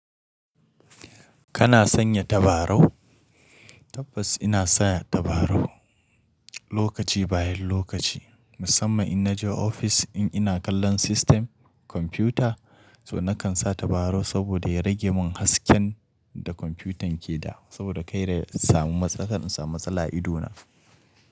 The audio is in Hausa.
Kana sanya tabarau? Tabbas ina saya tabarau lokaci bayan lokaci. Musamman in naje ofis in ina kallon system, computer, so nakan sa tabarau saboda ya rage mun hasken da komfutan ke da saboda kar na samu matsala, in samu matsala idona.